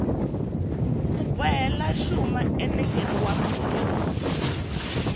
ku bohela xuma enengeni wa